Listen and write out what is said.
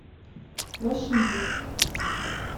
рашидик